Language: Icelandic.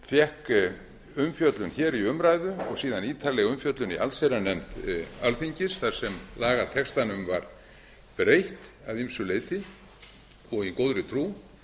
fékk umfjöllun hér í umræðu og síðan ítarleg umfjöllun í allsherjarnefnd alþingis þar sem lagatextanum var breytt að ýmsu leyti og í góðri trú